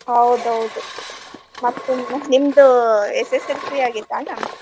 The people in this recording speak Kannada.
ಹೌದ್ ಹೌದ್ ಮತ್ ನಿಮ್ದ SSLC ಆಗೆತ ಅಣ್ಣಾ?